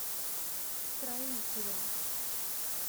строителем